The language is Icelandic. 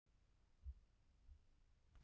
Spyr alla ráðherra um ráðstöfunarfé